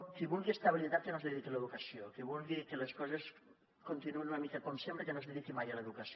qui vulgui estabilitat que no es dediqui a l’educació qui vulgui que les coses continuïn una mica com sempre que no es dediqui mai a l’educació